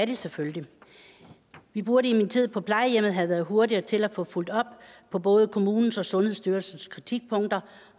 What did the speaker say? de selvfølgelig vi burde i min tid på plejehjemmet have været hurtigere til at få fulgt op på både kommunens og sundhedsstyrelsens kritikpunkter